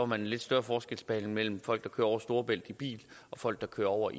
man en lidt større forskelsbehandling mellem folk der kører over storebælt i bil og folk der kører over